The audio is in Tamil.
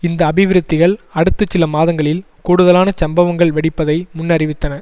இந்த அபிவிருத்திகள் அடுத்து சில மாதங்களில் கூடுதலான சம்பவங்கள் வெடிப்பதை முன்னறிவித்தன